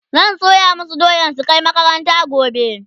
zan soya masu doya su Kai makaranta gobe